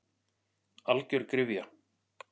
Algjör gryfja.